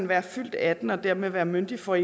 være fyldt atten år og dermed være myndig for